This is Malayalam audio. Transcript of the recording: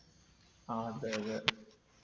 ആ അതെയതെ.